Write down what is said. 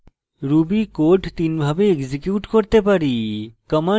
ruby code তিনভাবে execute করতে পারি